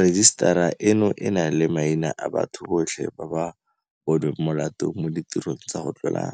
Rejisetara eno e na le maina a batho botlhe ba ba bo nweng molato mo ditirong tsa go tlola